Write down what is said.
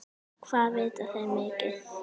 Hvað vita þeir mikið?